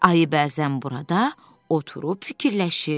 Ayı bəzən burada oturub fikirləşir.